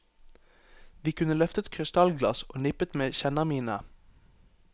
Vi kunne løftet krystallglass og nippet med kjennermine.